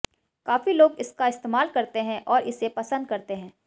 काफी लोग इसका इस्तेमाल करते हैं और इसे पसंद करते हैं